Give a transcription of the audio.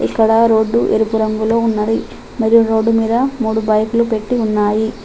ఇక్కడ రోడ్డు ఎరుపు రంగులో ఉన్నది మరియు రోడ్డు మీద మూడు బైకులు పెట్టి ఉన్నాయి.